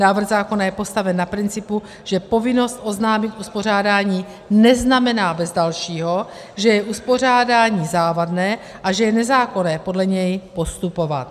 Návrh zákona je postaven na principu, že povinnost oznámit uspořádání neznamená bez dalšího, že je uspořádání závadné a že je nezákonné podle něj postupovat.